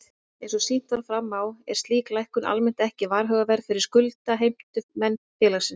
Eins og sýnt var fram á er slík lækkun almennt ekki varhugaverð fyrir skuldheimtumenn félagsins.